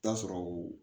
Taa sɔrɔ o